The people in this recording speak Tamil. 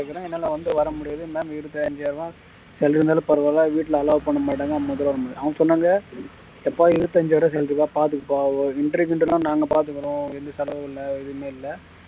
இருக்கேன் என்னால வந்து வர முடியாது ma'am இருபத்து ஐந்தாயிரம் ரூபாய் salary இருந்தாலும் பரவாயில்லை வீட்டுல allow பண்ண மாட்டாங்க அவங்க சொன்னாங்க எப்பா இருபத்தி ஐந்தாயிரம் salary வாப்பா பார்த்துக்கப்பா interview எல்லாம் நாங்க பார்த்துக்குறோம் எந்த செலவும் இல்லை எதுவுமே இல்லை